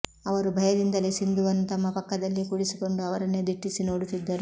ಅವರು ಭಯದಿಂದಲೇ ಸಿಂಧುವನ್ನು ತಮ್ಮ ಪಕ್ಕದಲ್ಲೇ ಕೂಡಿಸಿಕೊಂಡು ಅವರನ್ನೇ ದಿಟ್ಟಿಸಿ ನೋಡುತ್ತಿದ್ದರು